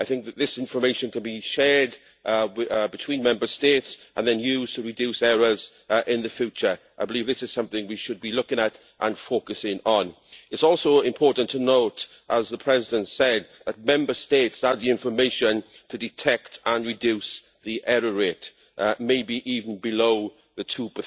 I think that this information could be shared between Member States and then used to reduce errors in the future. I believe this is something we should be looking at and focusing on. It is also important to note, as the President said, that Member States have the information to detect and reduce the error rate, maybe even below the 2